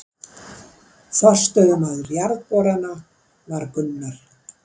Forstöðumaður Jarðborana varð Gunnar